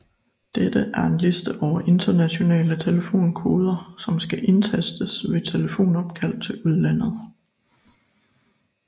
Dette er en liste over internationale telefonkoder som skal indtastes ved telefonopkald til udlandet